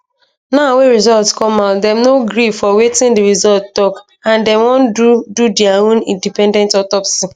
now wey result come out dem no gree for wetin di result tok and dem wan do do dia own independent autopsy